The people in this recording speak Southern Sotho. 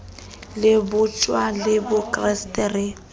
le bojuta le bokreste re